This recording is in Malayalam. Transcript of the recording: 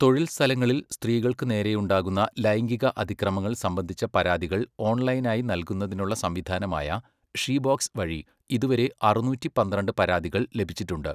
തൊഴിൽസ്ഥലങ്ങളിൽ സ്ത്രീകൾക്ക് നേരെയുണ്ടാകുന്ന ലൈംഗിക അതിക്രമങ്ങൾ സംബന്ധിച്ച പരാതികൾ ഓൺലൈനായി നല്കുന്നതിനുള്ള സംവിധാനമായ ഷീബോക്സ് വഴി ഇതുവരെ അറുനൂറ്റി പന്ത്രണ്ട് പരാതികൾ ലഭിച്ചിട്ടുണ്ട്.